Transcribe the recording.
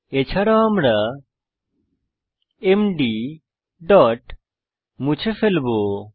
এছাড়াও আমরা MD dot মুছে ফেলবো